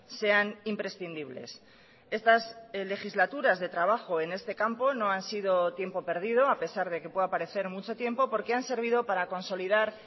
sean imprescindibles estas legislaturas de trabajo en este campo no han sido tiempo perdido a pesar de que pueda parecer mucho tiempo porque han servido para consolidar